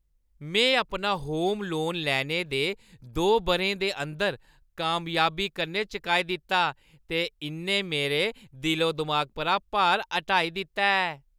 में अपना home loan लैने दे दो बʼरें दे अंदर कामयाबी कन्नै चुकाई दित्ता ते इʼन्नै मेरे दिलो-दिमाग परा भार हटाई दित्ता ऐ।